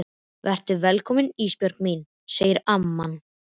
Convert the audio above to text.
Vertu velkomin Ísbjörg mín, segir amman.